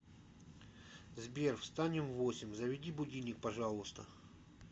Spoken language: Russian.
сбер встанем в восемь заведи будильник пожалуйста